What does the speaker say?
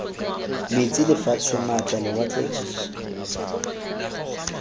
metsi lefatshe maatla lewatle jj